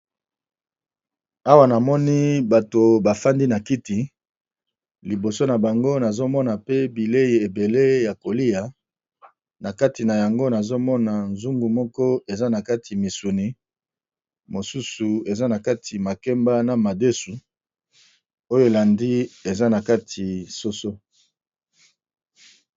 Awa namoni bato bafandi na kiti liboso na bango nazomona pe bilei ebele ya kolia na kati na yango nazomona zungu moko eza na kati misuni mosusu eza na kati makemba na madesu oyo elandi eza na kati soso.